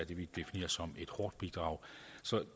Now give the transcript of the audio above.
vi definerer som et hårdt bidrag